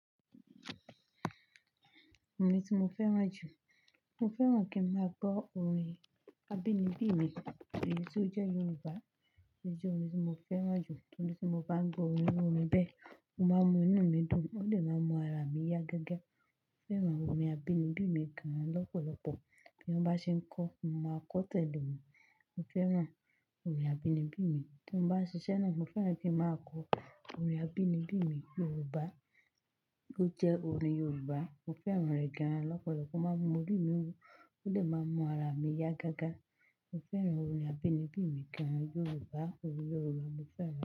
Orin tí mo fẹ́ràn jù, mo fẹ́ràn kí n máa gbọ́ orin abínibí mi èyí tí ó jẹ́ Yorùbá, èyí jẹ́ orin tí mo fẹ́ràn jù. Nítorí tí mo bá ń gbọ́ orin orin bẹ́ẹ̀, mo máa mọ inú mi dùn, ó dè máa mọ ara mi yá gágá. Mo fẹ́ràn orin abínibí mi gan lọ́pọ̀lọ́pọ̀. Bí wọ́n bá ṣe ń kọ́, mo máa kọ́ tẹ̀lé wọ́n. Mo fẹ́ràn orin abínibí mi. Tí mo bá ṣiṣẹ́ náà, mo fẹ́ràn kí n máa kọ orin abínibí mi Yorùbá, bó jẹ́ orin Yorùbá, mo fẹ́ràn rẹ̀ gan lọ́pọ̀lọ́pọ̀. Ma mú orí mi wú, ó dè máa n mu ara mi yá gágá. Mo fẹ́ràn orin abínibí mi gan Yorùbá. Orin Yorùbá mo fẹ́ràn.